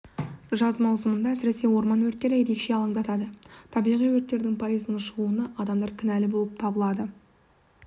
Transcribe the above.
жаз маусымында әсіресе орман өрттері ерекше алаңдатады табиғи өрттердің пайызының шығуына адамдар кінәлі болып табылады